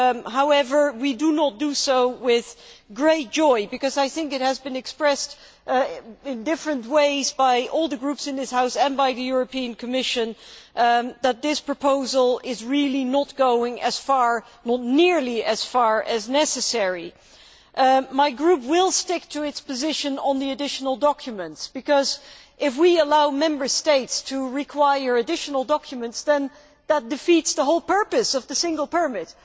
However, we do not do so with great joy because, as I think has been expressed in different ways by all the groups in this House and by the Commission, this proposal does not go nearly as far as is necessary. My group will stick to its position on the additional documents because, if we allow Member States to require additional documents, then that defeats the whole purpose of the single permit